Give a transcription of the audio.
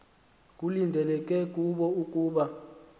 kulindeleke kubo ukuba